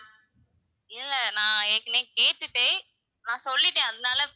இல்ல நான் ஏற்கனவே கேட்டுட்டேன் நான் சொல்லிட்டேன் அதனால,